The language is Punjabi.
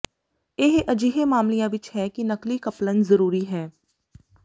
ਇਹ ਅਜਿਹੇ ਮਾਮਲਿਆਂ ਵਿੱਚ ਹੈ ਕਿ ਨਕਲੀ ਕਪਲਨ ਜ਼ਰੂਰੀ ਹੈ